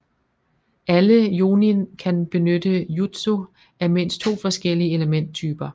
Alle Jonin kan benytte jutsu af mindst to forskellige elementtyper